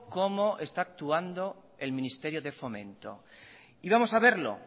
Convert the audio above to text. cómo está actuando el ministerio de fomento y vamos a verlo